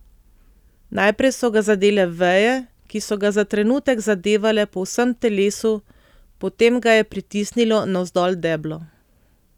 Najprej so ga zadele veje, ki so ga za trenutek zadevale po vsem telesu, potem ga je pritisnilo navzdol deblo.